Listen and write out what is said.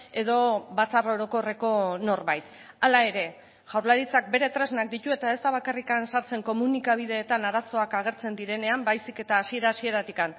edo batzar orokorreko norbait hala ere jaurlaritzak bere tresnak ditu eta ez da bakarrik sartzen komunikabideetan arazoak agertzen direnean baizik eta hasiera hasieratik